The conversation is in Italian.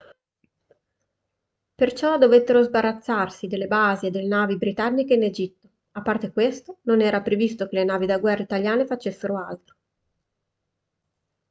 perciò dovettero sbarazzarsi delle basi e delle navi britanniche in egitto a parte questo non era previsto che le navi da guerra italiane facessero altro